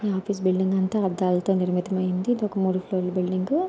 ఈ office building అంతా అద్దాలతో నిర్మితమై ఉంది. ఇది మూడు ఫ్లోర్ ల బిల్డింగ్ .